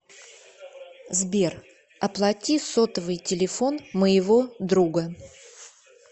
сбер оплати сотовый телефон моего друга